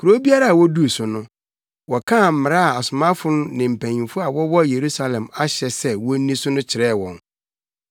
Kurow biara a woduu so no, wɔkaa mmara a asomafo ne mpanyimfo a wɔwɔ Yerusalem ahyɛ sɛ wonni so no kyerɛɛ wɔn.